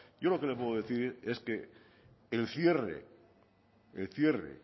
yo lo que le puedo decir es que el cierre el cierre